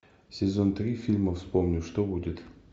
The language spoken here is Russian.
сезон три фильма вспомни что будет